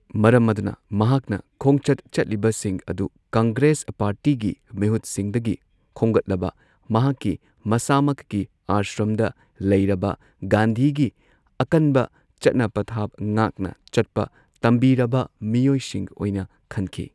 ꯃꯔꯝ ꯑꯗꯨꯅ ꯃꯍꯥꯛꯅ ꯈꯣꯡꯆꯠ ꯆꯠꯂꯤꯕꯁꯤꯡ ꯑꯗꯨ ꯀꯪꯒ꯭ꯔꯦꯁ ꯄꯥꯔꯇꯤꯒꯤ ꯃꯤꯍꯨꯠꯁꯤꯡꯗꯒꯤ ꯈꯣꯝꯒꯠꯂꯕ ꯃꯍꯥꯛꯀꯤ ꯃꯁꯥꯃꯛꯀꯤ ꯑꯁ꯭ꯔꯝꯗ ꯂꯩꯔꯕ ꯒꯥꯟꯙꯤꯒꯤ ꯑꯀꯟꯕ ꯆꯠꯅ ꯄꯊꯥꯞ ꯉꯥꯛꯅ ꯆꯠꯄ ꯇꯝꯕꯤꯔꯕ ꯃꯤꯑꯣꯏꯁꯤꯡ ꯑꯣꯏꯅ ꯈꯟꯈꯤ꯫